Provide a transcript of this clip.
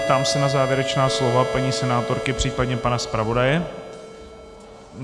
Ptám se na závěrečná slova paní senátorky, případně pana zpravodaje.